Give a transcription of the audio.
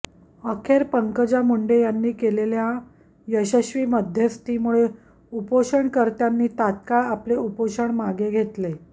अखेर पंकजा मुंडे यांनी केलेल्या यशस्वी मध्यस्थीमुळे उपोषणकर्त्यांनी तात्काळ आपले उपोषण मागे घेतले